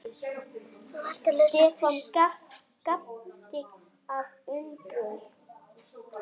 Stefán gapti af undrun.